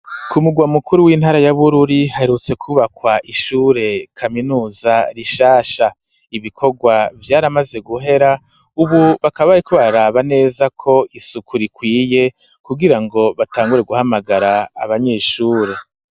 ku mugwa mukuru w'intara ya Bururi haherutse kubakwa ishure kaminuza rishasha, ibikorwa vyari bimaze guhera, ubu bakaba bari kuraba neza ko isuku rikwiye kugirango batangure guhamagara abanyeshure.